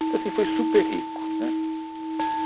Então, assim, foi super rico, né